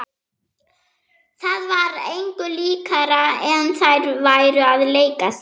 Það var engu líkara en þær væru að leika sér.